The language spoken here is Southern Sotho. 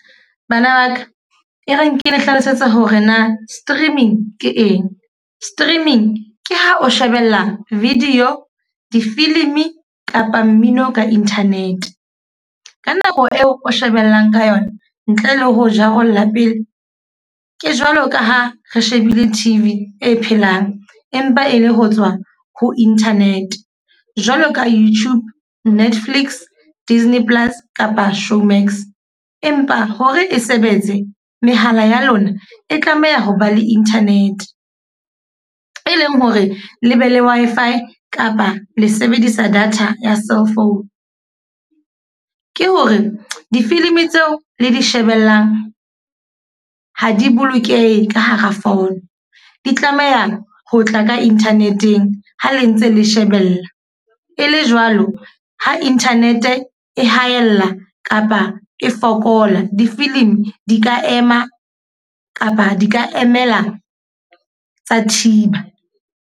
Bana ba ka, e reng ke le hlalosetsa hore na streaming ke eng. Streaming ke ha o shebella video, difilimi kapa mmino ka internet. Ka nako eo o shebellang ka yona ntle le ho jarolla pele. Ke jwalo ka ha re shebile T_V e phelang empa e le ho tswa ho internet. Jwalo ka YouTube, Netflix, Disney Plus kapa Showmax. Empa hore e sebetse, mehala ya lona e tlameha ho ba le internet. E leng hore le be le Wi-Fi kapa le sebedisa data ya cellphone. Ke hore difilimi tseo le di shebellang ha di bolokehe ka hara phone. Di tlameha ho tla ka internet-eng ha le ntse le shebella. E le jwalo ho internet e haella kapa e fokola. Difilimi di ka ema kapa di ka emela tsa thiba.